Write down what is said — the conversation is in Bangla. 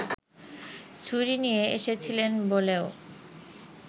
ছুরি নিয়ে এসেছিলেন বলেও